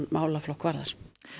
málaflokk varðar